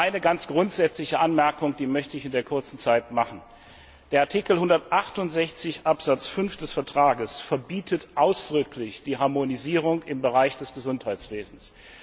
Nur eine ganz grundsätzliche Anmerkung will ich in der kurzen Zeit machen Artikel 168 Absatz 5 des Vertrags verbietet ausdrücklich die Harmonisierung im Bereich des Gesundheitswesens.